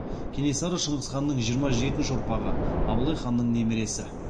кенесары шыңғыс ханның жиырма жетінші ұрпағы абылай ханның немересі